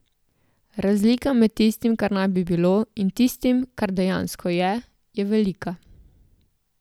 Razlika med tistim, kar naj bi bilo, in tistim, kar dejansko je, je velika.